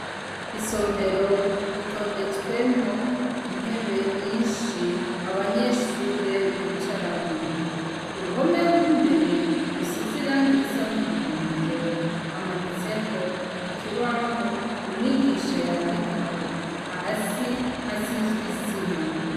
Isomero ritondetswemwo intebe nyinshi abanyeshure bicaramwo ku ruhomerw' imbere rusiziranga irisa n'umuhondo hamanitseko ikibahu umwigisha yandikako hasi hasizwi isima.